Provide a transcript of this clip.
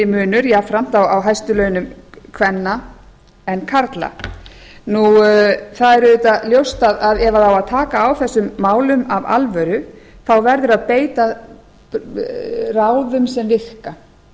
munur jafnframt á hæstu launum kvenna en karla það er auðvitað ljóst að ef á að taka á þessum málum af alvöru þá verður að veita ráðum sem virka